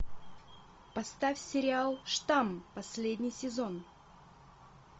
поставь сериал штамм последний сезон